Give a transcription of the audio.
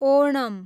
Onam